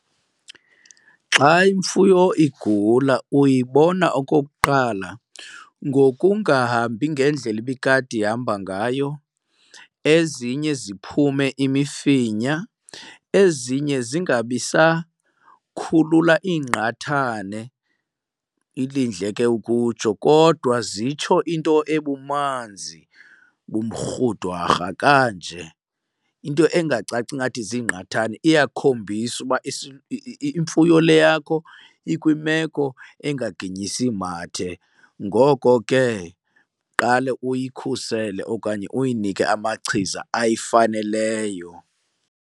Xa imfuyo igula uyibona okokuqala ngokungahambi ngendlela ibikade ihamba ngayo, ezinye ziphume imifinya, ezinye zingabi sakhulula iingqathane, ilindle ke ukutsho, kodwa zitsho into ebumanzi bumrhudwarha kanje, into angacaci ingathi ziingqathane. Iyakhombisa uba imfuyo le yakho ikwimeko engaginyisi mathe, ngoko ke qale uyikhusele okanye uyinike amachiza ayifaneleyo.